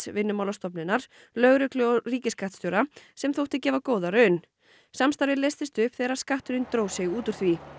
Vinnumálastofnunar lögreglu og ríkisskattstjóra sem þótti gefa góða raun samstarfið leystist upp þegar skatturinn dró sig út úr því